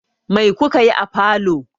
Mai ku ka yi a falo?